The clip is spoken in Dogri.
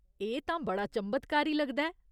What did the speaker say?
एह् तां बड़ा चंभतकारी लगदा ऐ।